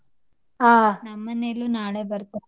ನಮ್ ಮನೆಲೂ ನಾಳೆ ಬರ್ತಾರೆ.